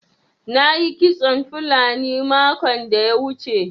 Na yi kitson fulani makon da ya wuce.